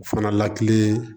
O fana lakili